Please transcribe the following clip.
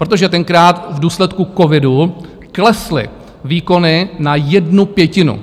Protože tenkrát v důsledku covidu klesly výkony na jednu pětinu.